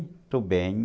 Estou bem.